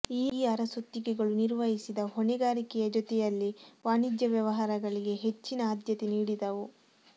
ಈ ಅರಸೊತ್ತಿಗೆಗಳು ನಿರ್ವಹಿಸಿದ ಹೊಣೆಗಾರಿಕೆಯ ಜೊತೆಯಲ್ಲಿ ವಾಣಿಜ್ಯ ವ್ಯವಹಾರಗಳಿಗೆ ಹೆಚ್ಚಿನ ಆದ್ಯತೆ ನೀಡಿದವು